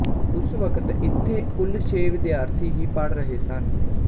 ਉਸ ਵਕਤ ਇੱਥੇ ਕੁਲ ਛੇ ਵਿਦਿਆਰਥੀ ਹੀ ਪੜ੍ਹ ਰਹੇ ਸਨ